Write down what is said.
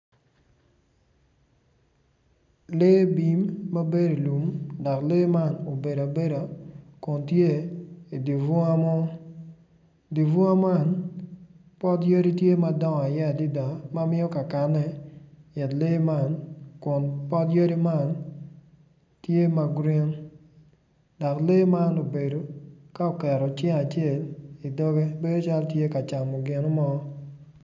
Lee bim mabedo i lum dok lee man obedo abeda kun tye i dye bunga mo dye bunga man pot yadi tye madongo iye adada ma miyo kakakne it lee man kun pot yadi man tye ma girin.